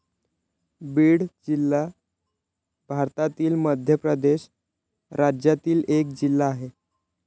भीड जिल्हा भारतातील मध्य प्रदेश राज्यातील एक जिल्हा आहे.